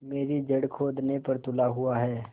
मेरी जड़ खोदने पर तुला हुआ है